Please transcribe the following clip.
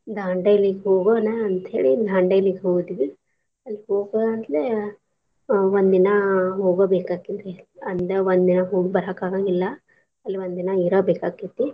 ದಾಂಡೇಲಿಗ್ ಹೋಗೋನ ಅಂತ್ಹೇಳಿ Dandeli ಗ್ ಹೋದ್ವಿ ಅಲಿಗ್ ಹೋಗಂತ್ಲೆ ಒಂದ್ ದಿನಾ ಹೋಗಬೇಕಾಕೆತ್ತಿ ಅಂದ ಒಂದಿನಾ ಹೋಗ್ ಬರಾಕ್ ಆಗಂಗಿಲ್ಲ ಅಲ್ ಒಂದಿನಾ ಇರಬೇಕಾಕೆತಿ.